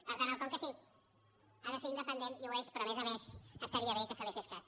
per tant el conca sí ha de ser independent i ho és però a més a més estaria bé que se li fes cas